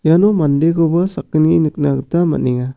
iano mandekoba sakgni nikna gita man·enga.